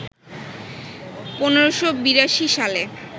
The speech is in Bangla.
১৫৮২ সালে